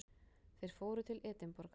Þeir fóru til Edinborgar.